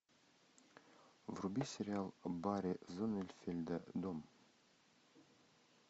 вруби сериал барри зонненфельда дом